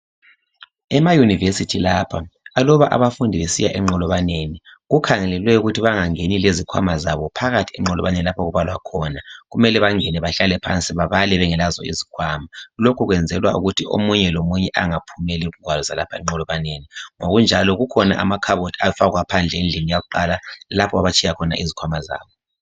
Emayunivesithi lapha aluba abafundi besiya enqolokaneni kukhangelelwe ukuthi bangengeni lezikhwama zabo phakathi enqolokaleni okubalwa khona kumele bangene bahlale phansi babale bengelazo isikhwama lokhu kuyenzelwa ukuthi omunye lomunye angaphumi legwalo lapha enqolokaneni ngokunjalo kukhona lapha amakhabothi afakwa phandle endlini yakuqala lapha abatshiya khona izikwama zabo.